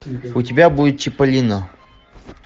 у тебя будет чиполлино